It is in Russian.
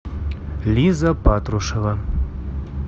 лиза патрушева